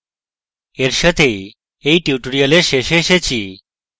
এর সাথেই এই tutorial শেষে এসেছি